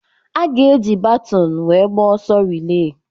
A ga-eji baton wéé gbaa ọsọ rịléé